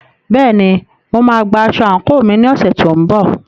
Bẹ́ẹ̀ni, mo máa gba aṣọ àǹkóò mi ní ọ̀sẹ̀ tó ń bọ̀.